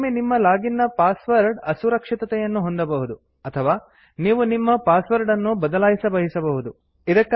ಕೆಲವೊಮ್ಮೆ ನಿಮ್ಮ ಲಾಗಿನ್ ನ ಪಾಸ್ವರ್ಡ್ ಅಸುರಕ್ಷಿತತೆಯನ್ನು ಹೊಂದಬಹುದು ಅಥವಾ ನೀವು ನಿಮ್ಮ ಪಾಸ್ವರ್ಡ್ ಅನ್ನು ಬದಲಾಯಿಸಲಿ ಬಯಸಬಹುದು